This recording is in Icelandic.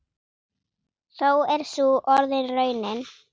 Þó er sú orðin raunin.